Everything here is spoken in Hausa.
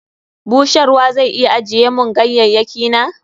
Busharwa zai iya ajiye mun ganyayyaki na?